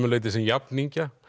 leyti sem jafningja